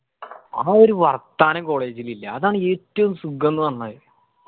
ആ ഒരു വർത്താന college ഇലില്ല അതാണ് ഏറ്റുവും സുഖംന്ന്‌ പറഞ്ഞാല്.